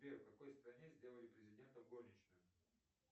сбер в какой стране сделали президентом горничную